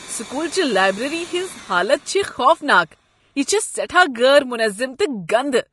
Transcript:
School چہ library ہنٛز حالت چھےٚ خوفناک، یہ چھےٚ سیٹھاہ غٲر منظم تہٕ گندٕ۔